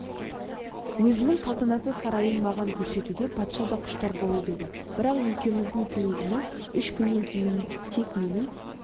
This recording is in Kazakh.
өзінің салтанатты сарайын маған көрсетуге патша да құштар болып еді бірақ екеуміздің тілегіміз үш күннен кейін тек менің